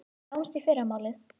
Sjáumst í fyrramálið.